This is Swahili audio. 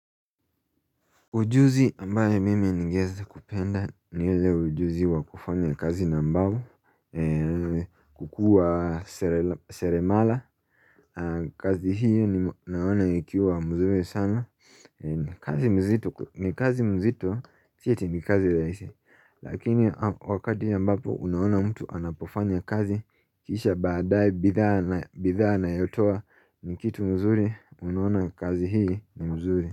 Ujuzi ambaye mim ni ngeweza kupenda ni ujuzi wa kufanya kazi nambao kuwa sere mala kazi hii naona ikiwa mnzuri sana, ni kazi nzito ni kazi nzito si eti ni kazi rahisi lakini wakati ambapo, unaona mtu anapofanya kazi, kisha badae bidhaa bidhaa anayotoa, ni kitu nzuri unaona kazi hii nzuri.